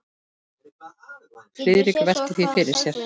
Friðrik velti því fyrir sér.